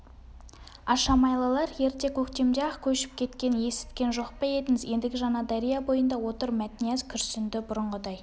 ашамайлылар ерте көктемде-ақ көшіп кеткенін есіткен жоқ па едіңіз ендігі жаңадария бойында отыр мәтнияз күрсінді бұрынғыдай